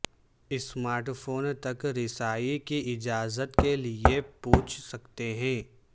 smart phone تک رسائی کی اجازت کے لئے پوچھ سکتے ہیں